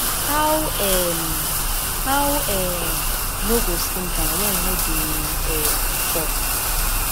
how um how um you no go slim down wen you no dey um chop